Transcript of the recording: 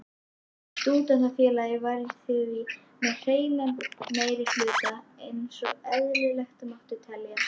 Stúdentafélagið var því með hreinan meirihluta einsog eðlilegt mátti teljast.